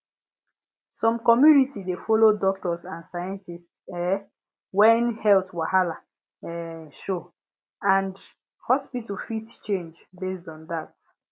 some community dey follow doctors and scientists um when health wahala um show and hospital fit change based on that